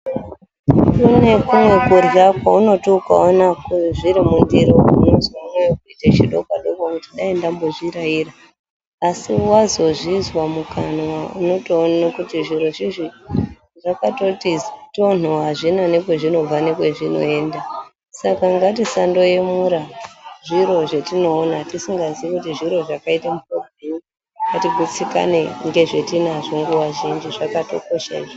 Kune kumweni kurya kwekuti ukaona zviri mundiro unonzwa moyo kuita chidokwadokwa kuti dai ndambozviraira asi wazozvinzwa mukanwa unotoona kuti zviro zvino zvakati tonhoo hazvina kwazvonobva nekwazvinoenda saka ngatisaemura zviro zvatinoona tisingazivi kuti zviro zvakaita muhlobonyi ngatigitsikane nezvatinazvo nguwa zhinji zvakatolosha izvozvo.